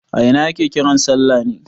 A ina ake kiran salla ne?